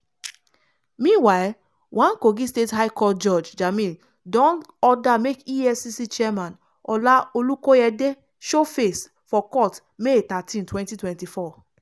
meanwhile one kogi state high court judge jamil don order make efcc chairman ola olukoyede show face for court may thirteen 2024.